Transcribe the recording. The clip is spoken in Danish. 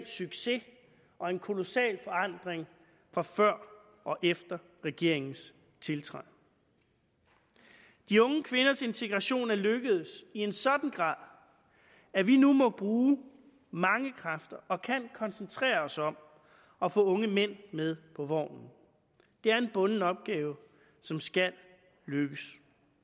succes og en kolossal forandring fra før og efter regeringens tiltræden de unge kvinders integration er lykkedes i en sådan grad at vi nu må bruge mange kræfter og kan koncentreres os om at få unge mænd med på vognen det er en bunden opgave som skal lykkes